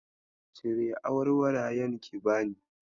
Cire awarwarayen ki bani.